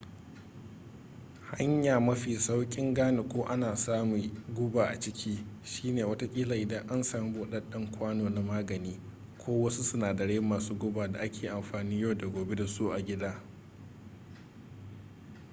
hanya mafi saukin gane ko ana sami guba a ciki shine watakila idan an sami budadden kwano na magani ko wasu sinadarai masu guba da ake amfanin yau da gobe da su a gida